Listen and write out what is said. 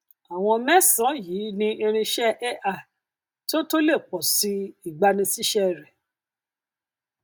àwọn mésànán yìí ni irinṣẹ ai tó tó le pọsi ìgbanisísé rẹ